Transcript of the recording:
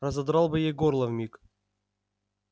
разодрал бы ей горло вмиг